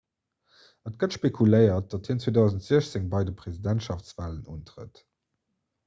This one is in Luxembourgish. et gëtt spekuléiert datt hien 2016 bei de presidentschaftswalen untrëtt